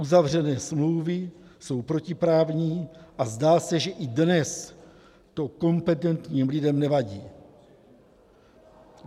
Uzavřené smlouvy jsou protiprávní a zdá se, že i dnes to kompetentním lidem nevadí.